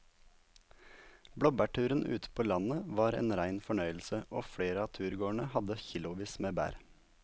Blåbærturen ute på landet var en rein fornøyelse og flere av turgåerene hadde kilosvis med bær.